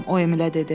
o Emilə dedi.